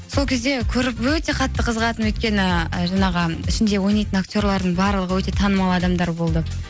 сол кезде көріп өте қатты қызығатынмын өйткені жаңағы ішінде ойнайтын актерлердің барлығы өте танымал адамдар болды